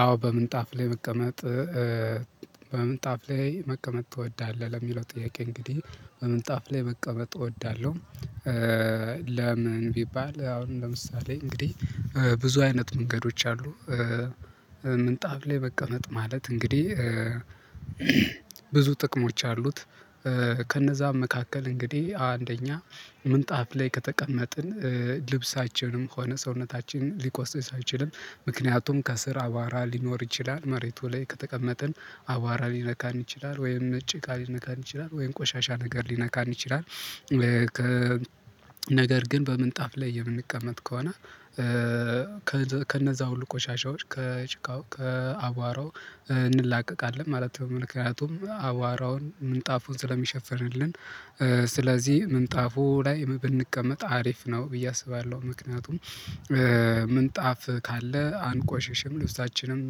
አዎ በምንጣፍ ላይ ብቀመጥ በምንጣፍ ላይ መቀመጥ ትወዳለህ ለሚለው ጥያቄ እንግዲህ በምንጣፍ ላይ መቀመጥ እወዳለሁ። ለምን ቢባል አሁን ለምሳሌ እንግዲህ ብዙ አይነት መንገዶች አሉ። ምንጣፍ ላይ መቀመጥ ማለት እንግዲህ ብዙ ጥቅሞች አሉት። ከነዛም መካከል እንግዲህ አንደኛ ምንጣፍ ላይ ከተቀመጥን ልብሳችንም ሆነ ሰውነታችን ሊቆስጥ ሳይችልም ምክንያቱም ከስር አባራ ሊኖር ይችላል መሬቱ ላይ ከተቀመጥን አባራ ሊነካን ይችላል ወይም እጭቃ ሊነካን ይችላል ወይም ቆሻሻ ነገር ሊነካ እንችላለን። ነገር ግን በምንጣፍ ላይ የምንቀመጥ ከሆነ ከነዛ ሁሉ ቆሻሻዎች ከጭቃው ከአቧራው እንላቀቃለን ማለት ነው ምክንያቱም አዋራውን ምንጣፉን ስለሚሸፍንልን። ስለዚህ ምንጣፉ ላይ ብንቀመጥ አሪፍ ነው ብዬ አስባለሁ። ምክንያቱም ምንጣፍ ካለ አንቆሽሽም ልብሳችንም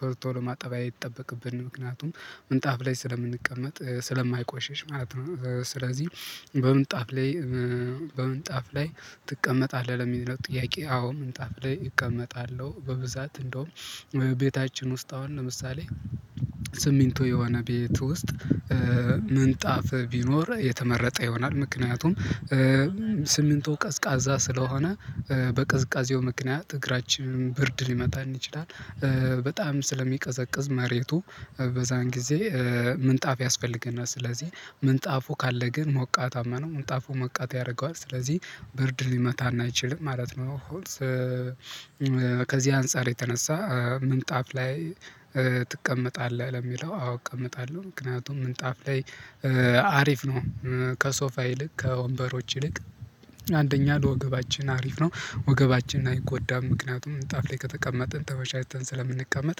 ቶሎ ቶሎ ማጠብ አይጠበቅብንም ምክንያቱም ምንጣፍ ላይ ስለምንቀመጥ ስለማይቆሸሽ ማለት ነው። ስለዚህ በምንጣፍ ላይ በምንጣፍ ላይ ትቀመጣለህ ለሚለው ጥያቄ አዎ ምንጣፍ ላይ እቀመጣለሁ። በብዛት እንደውም ቤታችን ውስጥ አሁን ለምሳሌ ስሚንቶ የሆነ ቤት ውስጥ ምንጣፍ ቢኖር የተመረጠ ይሆናል። ምክንያቱም ስሚንቱ ቀዝቃዛ ስለሆነ በቅዝቃዜው ምክንያት እግራችንን ብርድ ሊመታን እንችላለን በጣም ስለሚቀዘቅዝ መሬቱ በዛን ጊዜ ምንጣፍ ያስፈልገናል። ስለዚህ ምንጣፉ ካለ ግን ሞቃታማ ነው ምንጣፉ ሞቃት ያደርገዋል ስለዚህ ብርድ ሊመታና አይችልም ማለት ነው። ከዚህ አንፃር የተነሳ ምንጣፍ ላይ ትቀመጣለህ ለሚለው አዎ እቀመጣለሁ ምክንያቱም ምንጣፍ ላይ አሪፍ ነው። ከሶፋ ይልቅ ከወንበሮች ይልቅ አንደኛ ለወገባችን አሪፍ ነው ወገባችን አይጎዳም። ምክንያቱም እጣፍ ላይ ከተቀመጥን ተመቻችተን ስለምንቀመጥ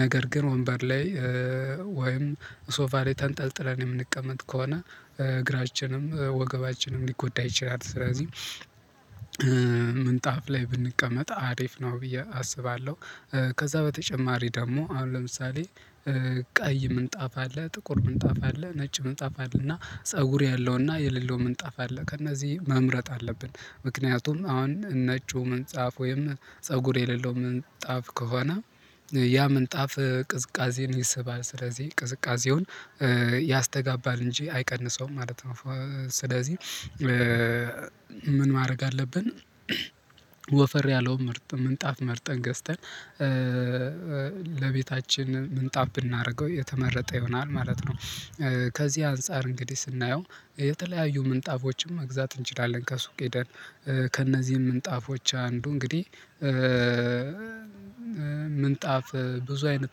ነገር ግን ወንበር ላይ ወይም ሶፋ ላይ ተንጠልጥለን የምንቀመጥ ከሆነ እግራችንም ወገባችንም ሊጎዳ ይችላል። ስለዚህ ምንጣፍ ላይ ብንቀመጥ አሪፍ ነው ብዬ አስባለሁ። ከዛ በተጨማሪ ደግሞ አሁን ለምሳሌ ቀይ ምንጣፍ አለ ጥቁር ምንጣፍ አለ ነጭ ምንጣፍ አለ እና ፀጉር ያለው እና የሌለው ምንጣፍ አለ ከእነዚህ መምረጥ አለብን። ምክንያቱም አሁን ነጩ ምንጣፍ ወይም ፀጉር የሌለው ምንጣፍ ከሆነ ያ ምንጣፍ ቅዝቃዜን ይስባል ስለዚህ ቅዝቃዜውን ያስተጋባል እንጂ አይቀንሰውም ማለት ነው። ስለዚህ ምን ማድረግ አለብን? ወፈር ያለው ምርጥ ምንጣፍ መርጠን ገዝተን ለቤታችን ምንጣፍ ብናደርገው የተመረጠ ይሆናል ማለት ነው። ከዚህ አንፃር እንግዲህ ስናየው የተለያዩ ምንጣፎችን መግዛት እንችላለን። ከሱቅ ሄደን ከእነዚህም ምንጣፎች አንዱ እንግዲህ ምንጣፍ ብዙ አይነት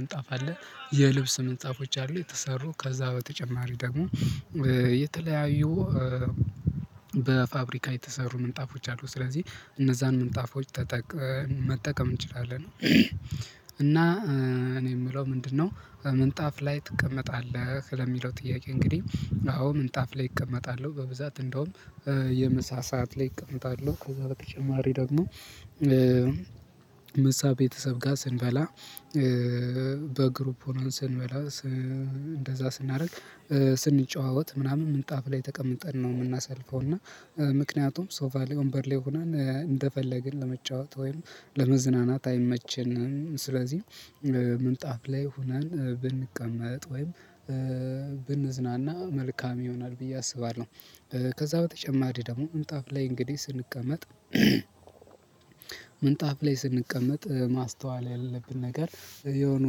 ምንጣፍ አለ የልብስ ምጣፎች አሉ የተሰሩ ከዛ በተጨማሪ ደግሞ የተለያዩ በፋብሪካ የተሰሩ ምንጣፎች አሉ። ስለዚህ እነዛን ምንጣፎች መጠቀም እንችላለን። እና እኔ የምለው ምንድነው? ምንጣፍ ላይ ትቀመጣለህ ለሚለው ጥያቄ እንግዲህ አዎ ምንጣፍ ላይ እቀመጣለሁ። በብዛት እንደውም የምሳ ሰዓት ላይ እቀመጣለሁ ከዛ በተጨማሪ ደግሞ ምሳ ቤተሰብ ጋር ስንበላ በግሩፕ ሆኖ ስንበላ እንደዛ ስናደርግ ስንጨዋወት ምናምን ምንጣፍ ላይ ተቀምጠን ነው የምናሳልፈው እና ምክንያቱም ሶፋ ላይ ወንበር ላይ ሆነን እንደፈለግን ለመጫወት ወይም ለመዝናናት አይመችንም። ስለዚህ ምንጣፍ ላይ ሆናን ብንቀመጥ ወይም ብንዝናና መልካም ይሆናል ብዬ አስባለሁ። ከዛ በተጨማሪ ደግሞ ምንጣፍ ላይ እንግዲህ ስንቀመጥ ምንጣፍ ላይ ስንቀመጥ ማስተዋል ያለብን ነገር የሆኑ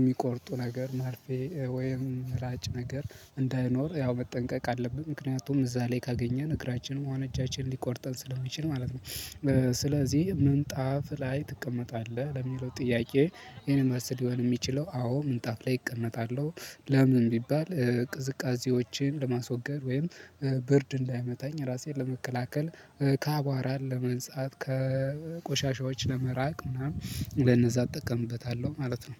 የሚቆርጡ ነገር መርፌ ወይም ምላጭ ነገር እንዳይኖር ያው መጠንቀቅ አለብን ምክንያቱም እዛ ላይ ካገኘን እግራችንም እጃችንን ሊቆርጠን ስለሚችል ማለት ነው። ስለዚህ ምንጣፍ ላይ ትቀመጣለህ ለሚለው ጥያቄ የን መልስ ሊሆን የሚችለው አዎ ምንጣፍ ላይ እቀመጣለሁ። ለምን ቢባል ቅዝቃዜዎቼን ለማስወገድ ወይም ብርድ እንዳይመታኝ ራሴን ለመከላከል ከአቧራ ለመንጻት ከቆሻሻዎች ለመራቅ ምናምን ለነዛ እጠቀምበታለሁ ማለት ነው።